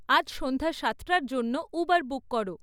আজ সন্ধ্যা সাতটার জন্য উবের বুক করো